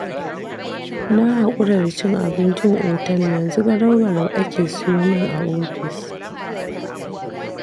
Na haƙura da cin abincin otal, yanzu garau-garau ake siyo min a ofis.